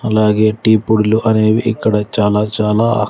అలాగే టీ పొడులు అనేవి ఇక్కడ చాలా చాలా --